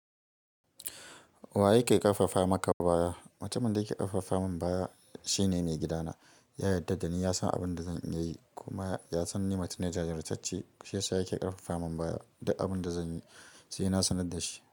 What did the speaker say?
Wa yake ƙarfafa maka baya? Mutumin da yake ƙarfafa min baya shine me gidana. Ya yarda da ni, ya san abin da zan iya yi kuma ya san ni matu ne jajirtacce. Shiyasa yake ƙarfafa min baya duk abin da zan yi, saina sanar da shi.